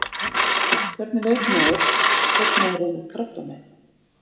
Hvernig veit maður hvort maður er með krabbamein?